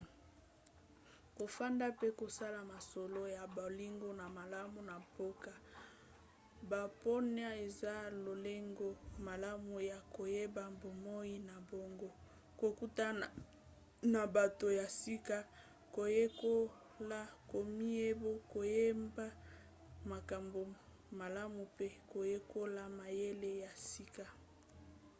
kofanda mpe kosala mosala ya bolingo malamu na mboka bapaya eza lolenge malamu ya koyeba bomoi na bango kokutana na bato ya sika koyekola komiyeba koyeba makambo malamu pe koyekola mayele ya sika